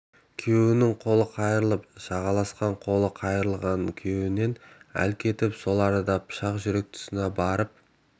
күйеуінің қолын қайырып жағаласқан қолы қайырылған күйеуінен әл кетіп сол арада пышақ жүрек тұсына барып